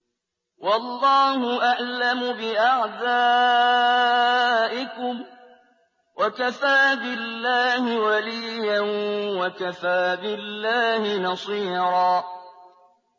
وَاللَّهُ أَعْلَمُ بِأَعْدَائِكُمْ ۚ وَكَفَىٰ بِاللَّهِ وَلِيًّا وَكَفَىٰ بِاللَّهِ نَصِيرًا